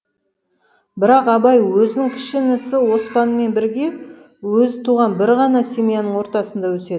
бірақ абай өзінің кіші інісі оспанмен бірге өзі туған бір ғана семьяның ортасында өседі